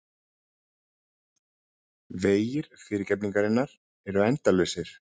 Vegir fyrirgefningarinnar eru endalausir.